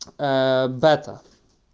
бетта